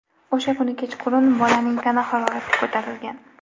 O‘sha kuni kechqurun bolaning tana harorati ko‘tarilgan.